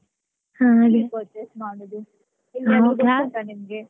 ಎಲ್ಲಿ purchase ಮಾಡೋದು ಗೊತ್ತುಂಟಾ ನಿಮಿಗೆ.